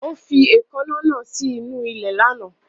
Ó fi èèkàn náà sí inú ilẹ̀ lánàá